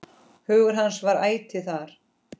Hugur hans var ætíð þar.